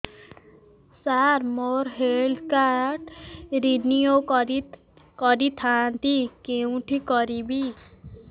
ସାର ମୋର health card renew କରିଥାନ୍ତି କେଉଁଠି କରିବି